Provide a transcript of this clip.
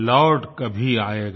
लौट कभी आएगा